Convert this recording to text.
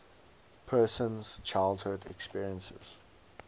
person's childhood experiences